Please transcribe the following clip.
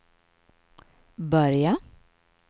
börja